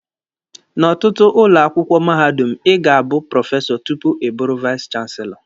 N'ọtụtụ ụlọ akwụkwọ mahadum, Ị ga-abụ prọfesọ tupu ịbụrụ vais chanselọ.